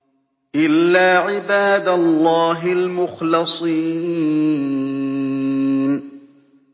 إِلَّا عِبَادَ اللَّهِ الْمُخْلَصِينَ